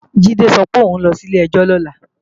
Jídé sọ pé òun ló sí ilé-ẹjọ́ lọ́la